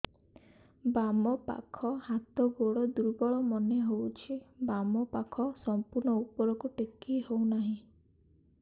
ବାମ ପାଖ ହାତ ଗୋଡ ଦୁର୍ବଳ ମନେ ହଉଛି ବାମ ହାତ ସମ୍ପୂର୍ଣ ଉପରକୁ ଟେକି ହଉ ନାହିଁ